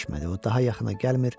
o daha yaxına gəlmir,